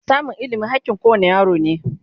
samun ilimi hakkin kowane yaro ne